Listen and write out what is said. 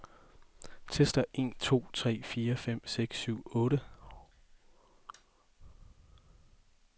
Tester en to tre fire fem seks syv otte.